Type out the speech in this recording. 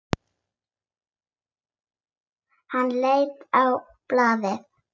Hann leit á blaðið.